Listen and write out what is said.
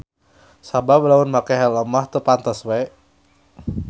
Sabab lamun make helm mah teu pantes we.